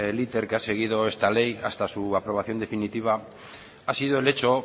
el que ha seguido esta ley hasta su aprobación definitiva ha sido el hecho